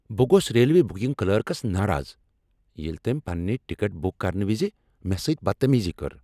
بہٕ گوس railway booking clerks ناراض ییٚلہ تٔمۍ پنٕنہِ ٹکٹ بٖک کرنہٕ وز مےٚ سۭتۍ بدتمیزی کٔر۔